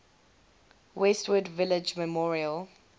westwood village memorial